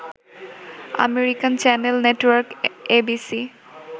American channel network ABC